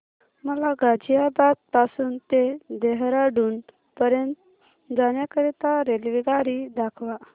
मला गाझियाबाद पासून ते देहराडून पर्यंत जाण्या करीता रेल्वेगाडी दाखवा